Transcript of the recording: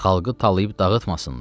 Xalqı talayıb dağıtmasınlar.